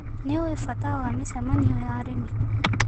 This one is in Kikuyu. Nĩũĩ bata wa mĩcemanio ya arĩmi.